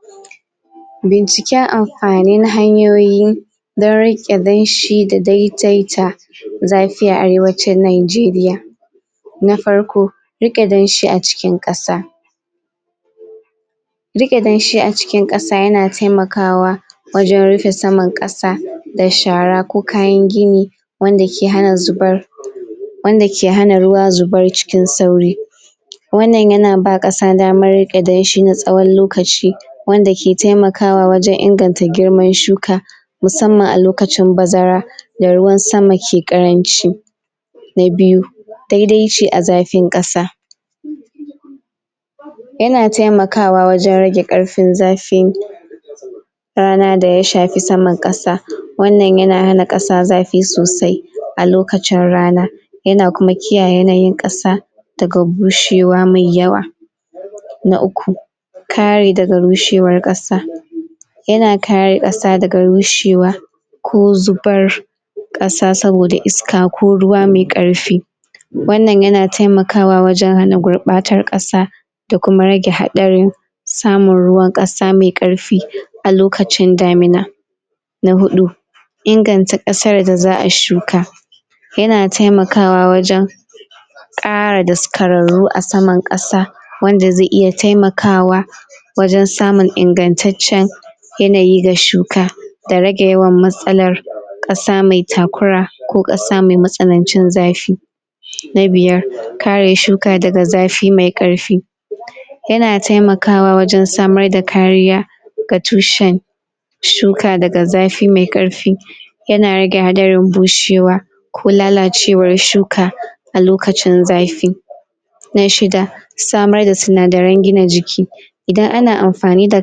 ?? binciken am fanin hanyoyin don riƙe danshi da daidaita zafi a arewacin najeriya na farko, riƙe danshi a cikin ƙasa rike danshi a cikin kasa yana taimakawa wajen rufe saman kasa da shara ko kayan gini wanda ke hana zubar ?/ wanda ke hana ruwa zubar cikin sauri wannan yana ba ƙasa damar rike danshi na tsawon lokaci wanda ke taimakawa wajen inganta girman shuka musamman a lokacin bazara da ruwan sama ke ƙaranci na biyu, daidaici a zafin kasa? yana taimakawa wajen rage karfin zafin? rana da ya shafi saman kasa wannan yana hana kas zafi sosai a lokacin rana yana kuma kiyaye yanayin kasa daga bushewa mai yawa na uku kare daga bushewar ƙasa yana kare kasa daga rushewa ko zubar ƙasa saboda iska ko ruwa mai karfi wannan yana taimakawa wajen hana gurbatar kasa da kuma rage haɗarin samun ruwan kasa mai karfi a lokacin damina na huɗu inganta ƙasar da za'a shuka yana taimakawa wajen ƙara daskararru a saman kasa wanda zai iya taimakawa wajen samun ingattacen yanayi ga shuka da rage yawan matsalar ƙasa mai takura ko ƙasa mai matsanancin zafi na biyar kare shuka daga zafi mai ƙarfi yana taimakawa wajen samar da kariya ga tushen shuka daga zafi mai karfi yana rage hadarin bushewa ko lalacewar shuka a lokacin zafi na shida samar da sinadaran gina jiki idan ana amfani da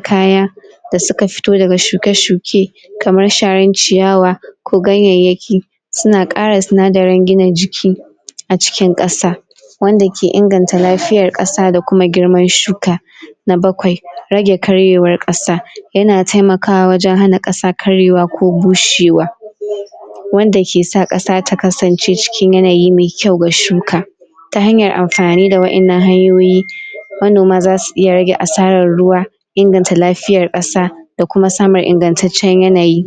kaya da suka fito daga shuke-shuke kamar sharar ciyawa ko ganyayyaki suna kara sinadaran gina jiki a cikin kasa wanda ke inganta lafiyar kasa da kuma girman shuka na bakwai, rage karyewar kaa yana taimakawa wajen hana ƙasa karyewa ko bushewa ?/ wanda ke sa kasa ta kasance cikin yanayi mai kyau ga shuka ta hanyar amfani da wa innan hanyoyi manoma zasu iya rage asarar ruwa inganta lafiyar ƙasa da kuma samun ingattaciyar yanayi?